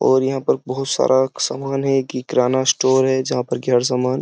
और यहाँ पर बहुत सारा सामान है कि किराना स्टोर है जहाँ पर कि हर सामान --